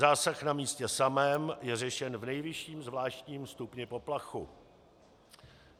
Zásah na místě samém je řešen v nejvyšším zvláštním stupni poplachu.